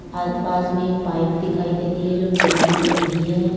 और पास में एक पाइप दिखाई दे रही है जो बिल्डिंग में लगी है।